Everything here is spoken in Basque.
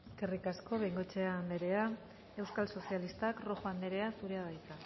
eskerrik asko bengoechea anderea euskal sozialistak rojo anderea zurea da hitza